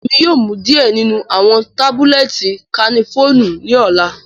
Emi yoo mu diẹ ninu awọn tabulẹti cafenolu ni ọla.